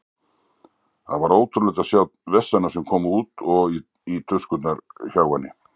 Það var ótrúlegt að sjá vessana sem komu út og í tuskurnar hjá henni.